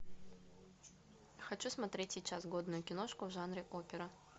хочу смотреть сейчас годную киношку в жанре опера